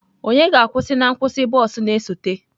Onye ga-akwụsị na nkwụsị bọs na-esote?